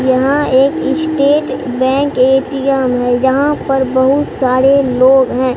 यहां एक state bank ATM है यहां पर बहुत सारे लोग हैं।